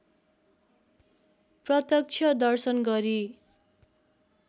प्रत्यक्ष दर्शन गरी